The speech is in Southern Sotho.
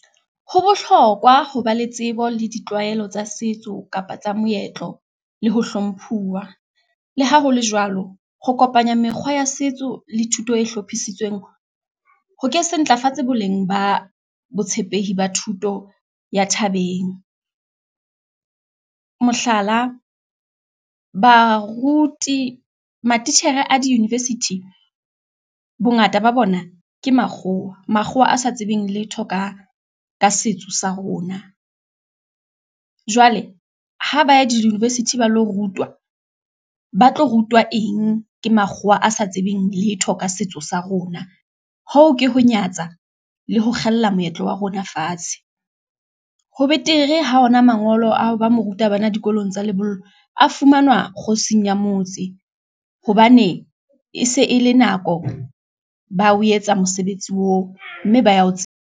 Ho bohlokwa ho ba le tsebo le ditlwaelo tsa setso, kapa tsa moetlo, le ho hlomphuwa, le ha hole jwalo, ho kopanya mekgwa ya setso le thuto e hlophisitsweng, ho ke se ntlafatsa boleng ba botshepehi ba thuto ya thabeng, mohlala baruti, matitjhere a di-university bongata ba bona ke makgowa, makgowa a sa tsebeng letho ka setso sa rona. Jwale ha ba ya di-university ba lo rutwa, ba tlo rutwa eng ke makgowa a sa tsebeng letho ka setso sa rona, hoo ke ho nyatsa le ho kgella moetlo wa rona fatshe. Ho betere ha ona mangolo a hoba mo ruta bana dikolong tsa lebollo a fumanwa kgosing ya motse, hobane e se e le nako, ba o etsa mosebetsi oo, mme ba ya ho tse.